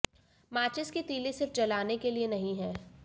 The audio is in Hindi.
माचिस की तीली सिर्फ जलाने के लिए नहीं है